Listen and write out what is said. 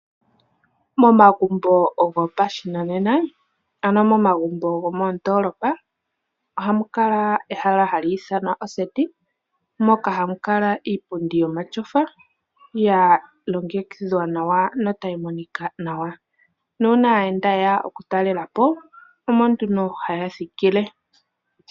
Momagumbo gopashinanena, ano momagumbo gomoondolopa ohamu kala ehala hali ithanwa oseti mboka hamu kala iipundi yomatyofa yalongekidhwa nawa, notayi monika nawa. Uuna aayenda yeya oku talela po omo nduno haya thikile.